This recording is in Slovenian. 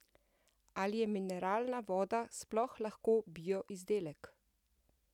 Ali je mineralna voda sploh lahko bio izdelek?